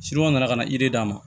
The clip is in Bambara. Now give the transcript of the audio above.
nana ka na d'a ma